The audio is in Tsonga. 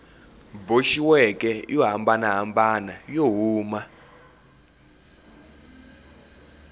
boxiweke yo hambanahambana yo huma